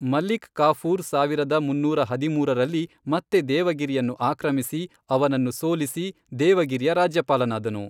ಮಲಿಕ್ ಕಾಫೂರ್ ಸಾವಿರದ ಮುನ್ನೂರ ಹದಿಮೂರರಲ್ಲಿ ಮತ್ತೆ ದೇವಗಿರಿಯನ್ನು ಆಕ್ರಮಿಸಿ, ಅವನನ್ನು ಸೋಲಿಸಿ, ದೇವಗಿರಿಯ ರಾಜ್ಯಪಾಲನಾದನು.